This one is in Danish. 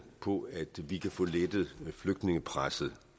på at vi kan få lettet flygtningepresset